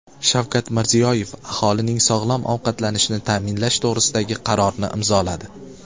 Shavkat Mirziyoyev aholining sog‘lom ovqatlanishini ta’minlash to‘g‘risidagi qarorni imzoladi.